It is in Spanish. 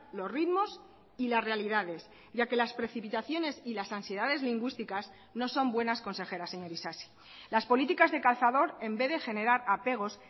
los ritmos y las realidades ya que las precipitaciones y las ansiedades lingüísticas no son buenas consejeras señor isasi las políticas de cazador en vez de generar apegos